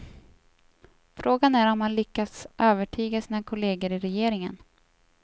Frågan är om han lyckas övertyga sina kolleger i regeringen.